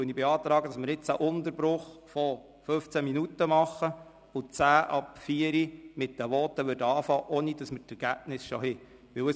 Deshalb beantrage ich einen Sitzungsunterbruch von 15 Minuten, sodass wir um 16.10 Uhr mit den Voten anfangen können, jedoch ohne die Ergebnisse schon vorliegen zu haben.